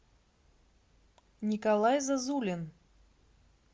николай зазулин